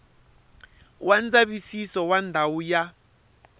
wa ndzavisiso wa ndhawu ya